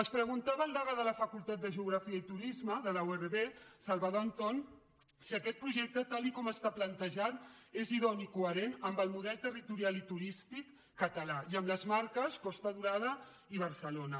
es preguntava el degà de la facultat de geografia i turisme de la urv salvador anton si aquest projecte tal com està plantejat és idoni i coherent amb el model territorial i turístic català i amb les marques costa daurada i barcelona